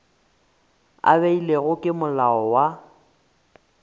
a beilwego ke molao wa